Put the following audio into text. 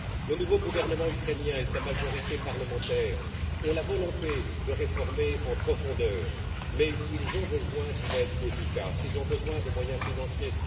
Le nouveau gouvernement ukrainien et sa majorité parlementaire ont la volonté de mener des réformes en profondeur mais ils ont besoin d'une aide efficace et de moyens financiers.